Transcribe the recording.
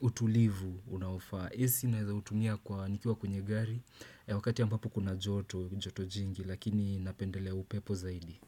utulivu unaofaa. Ac naweza kuitumia kwa nikiwa kwenye gari wakati ambapo kuna joto, joto jingi lakini napendelea upepo zaidi.